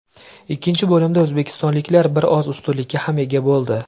Ikkinchi bo‘limda o‘zbekistonliklar bir oz ustunlikka ham ega bo‘ldi.